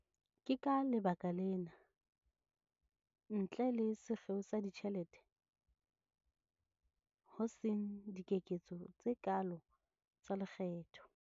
Ke ka lebaka lena, ntle le sekgeo sa ditjhelete, ho seng dikeketso tse kaalo tsa lekgetho.